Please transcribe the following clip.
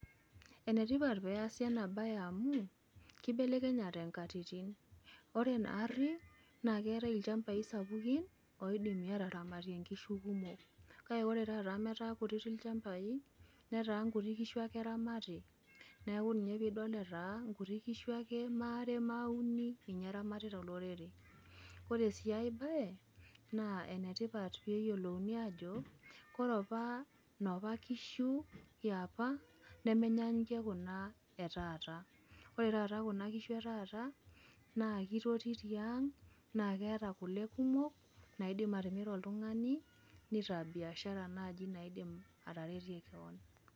Enetipat peeasi enabaye amu keibelekenyate nkatitin. Ore naarri naakeetai ilchambai sapukin oidimi ataramatie nkishu kumok kake ore tata ametaa kutiti ilchambai netaa nkuti kishu ake eramati. Neaku ninye piidol etaa nkuti kishu ake maare maauni ninye eramatita olorere. Ore sii aibaye naa enetipat peeyiolouni ajo kore opa nopa kishu eoapa nemenyaanyukie kuna etaata. Ore taata kuna kishu etaata naakeiti tiang' naakeeta kole kumok naaidim atimira oltung'ani neitaa biashara naji naaidim ataretie keon.